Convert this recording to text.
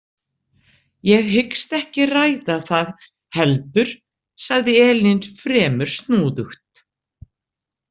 Ég hyggst ekki ræða það heldur, sagði Elín fremur snúðugt.